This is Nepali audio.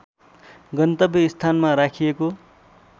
गन्तव्य स्थानमा राखिएको